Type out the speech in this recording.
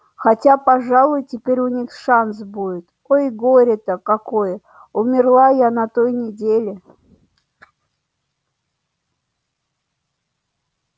хотя пожалуй теперь у них шанс будет ой горе-то какое умерла я на той неделе